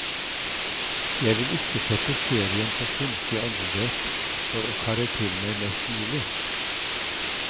Jeg vil ikke sette serien på kunstig åndedrett for å karre til meg mest mulig.